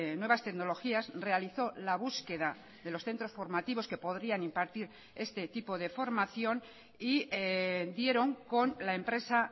nuevas tecnologías realizó la búsqueda de los centros formativos que podrían impartir este tipo de formación y dieron con la empresa